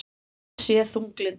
Hann sé þunglyndur